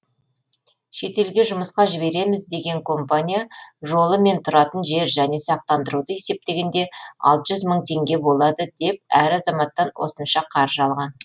шетелге жұмысқа жібереміз деген компания жолы мен тұратын жер және сақтандыруды есептегенде алты жүз мың теңге болады деп әр азаматтан осынша қаржы алған